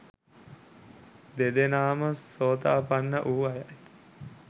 දෙදෙනාම සෝතාපන්න වූ අයයි.